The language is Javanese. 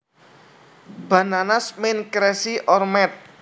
Bananas means crazy or mad